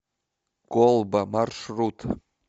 колба маршрут